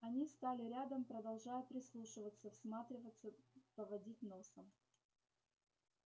они стали рядом продолжая прислушиваться всматриваться поводить носом